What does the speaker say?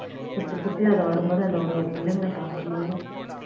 சுத்தி சுத்தி அது வரும் போது ஒரு ஒரு புள்ளைங்களையும் பார்க்கும் போதும்